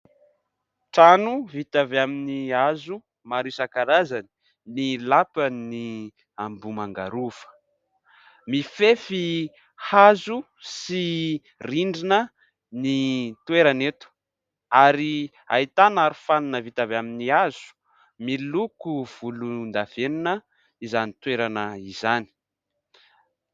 Trano vita avy amin'ny hazo maro isan-karazany ny lapan'i Ambohimanga Rova, mifefy hazo sy rindrina ny toerana eto ary ahitana arofanina vita avy amin'ny hazo miloko volondavenona izany toerana izany.